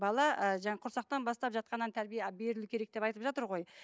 бала ыыы жаңағы құрсақтан бастап жатқаннан тәрбие берілу керек деп айтып жатыр ғой